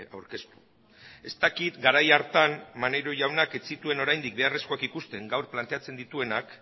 aurkeztu ez dakit garai hartan maneiro jaunak ez zituen oraindik beharrezkoak ikusten gaur planteatzen dituenak